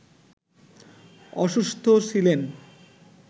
অসুস্থ ছিলেন